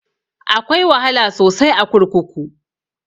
Akwai wahala sosai a kurkuku